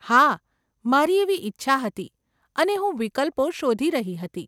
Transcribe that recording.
હા, મારી એવી ઈચ્છા હતી અને હું વિકલ્પો શોધી રહી હતી.